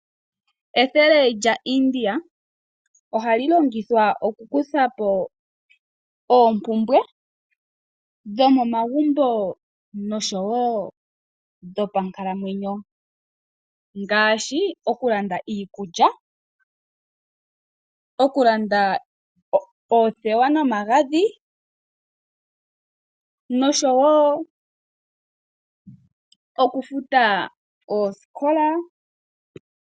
Ethele lyaIndia ohali longithwa okukutha po oompumbwe dhomomagumbo nosho wo dhopankalamwenyo ngaashi, okulanda iikulya, okulanda oothewa nomagadhi nosho wo okufuta oosikola.